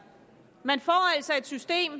man får altså et system